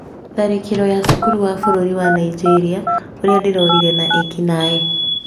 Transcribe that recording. Tharĩkĩro ya cukuru wa bũrũri wa Nigeria "ũrĩa ndĩrorire na ekinaĩ"